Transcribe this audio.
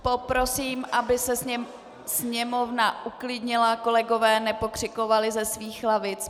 Poprosím, aby se sněmovna uklidnila, kolegové nepokřikovali ze svých lavic.